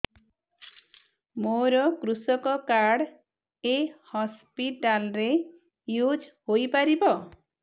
ମୋର କୃଷକ କାର୍ଡ ଏ ହସପିଟାଲ ରେ ୟୁଜ଼ ହୋଇପାରିବ